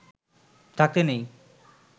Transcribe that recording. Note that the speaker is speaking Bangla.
থাকতে নেই